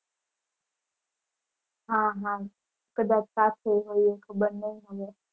હા હા કદાચ સાથે હોઈએ ખબર નહીં હવે.